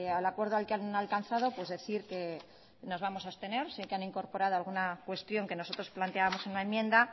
al acuerdo que han alcanzado pues decir que nos vamos a abstener sé que han incorporado alguna cuestión que nosotros planteábamos en la enmienda